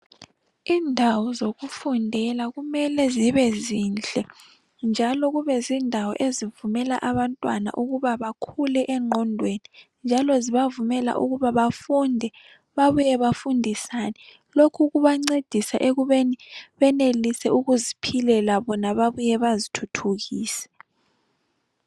Indawo zokufundela kumele zibe zinhle njalo kubezindawo ezivumela abantwana ukuba bakhule engqondweni, njalo zibavumela ukuba bafunde babuye bafundisane, lokhu kubancedisa ekubeni benelise ukuziphilela bona babuye bazithuthukise.